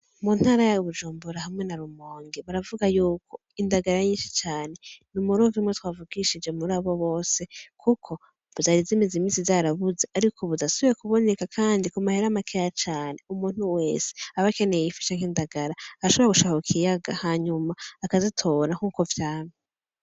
Mu ntara ya Bujumbura hamwe na Rumonge baravuga yuko indagara nyinshi cane, ni umurovyi umwe twavugishije muri abo bose kuko zari zimaze imisi zarabuze, ariko ubu zasubiriye kuboneka kandi ku mahera makeya cane. Umuntu wese aba akeneye ifi canke indagara ashobora gushika ku kiyaga hanyuma akazitora nkuko vyamye.